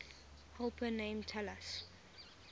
helper named talus